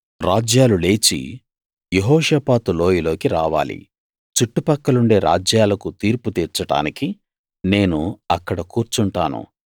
రాజ్యాలు లేచి యెహోషాపాతు లోయలోకి రావాలి చుట్టు పక్కలుండే రాజ్యాలకు తీర్పు తీర్చడానికి నేను అక్కడ కూర్చుంటాను